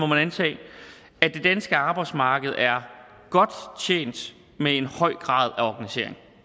man antage at det danske arbejdsmarked er godt tjent med en høj grad af organisering